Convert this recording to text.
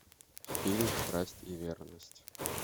фильм страсть и верность